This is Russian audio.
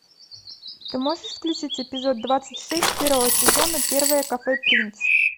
ты можешь включить эпизод двадцать шесть первого сезона первое кафе принц